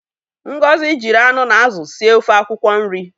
Ngozi jiri anụ na azụ sie ofe akwụkwọ nri.